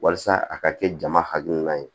Walasa a ka kɛ jama hakilina ye